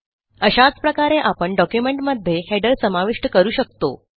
अशाच प्रकारे आपण डॉक्युमेंटमध्ये हेडर समाविष्ट करू शकतो